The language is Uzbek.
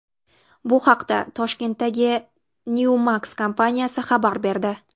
Bu haqda Toshkentdagi Newmax kompaniyasi xabar berdi.